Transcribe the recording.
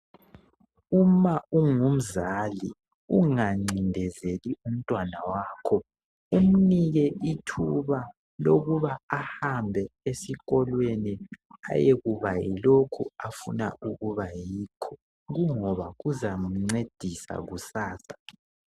Uma ungumzali ungancindezeli umntwana wakho umnike ithuba lokuba ahambe esikolweni ayekuba yilokhu afuna ukuba yikho kungoba kuzamncedisa kusasa.